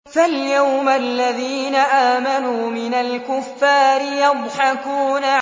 فَالْيَوْمَ الَّذِينَ آمَنُوا مِنَ الْكُفَّارِ يَضْحَكُونَ